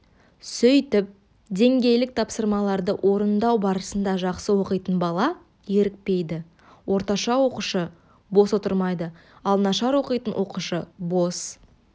сөйтіп деңгейлік тапсырмаларды орындау барысында жақсы оқитын бала зерікпейді орташа оқушы бос отырмайды ал нашар оқитын оқушы бос